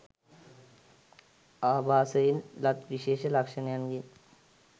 ආභාසයෙන් ලත් විශේෂ ලක්ෂණයන්ගෙන්